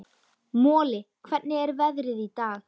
Moli, hvernig er veðrið í dag?